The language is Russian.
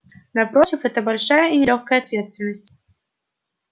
напротив это большая и нелёгкая ответственность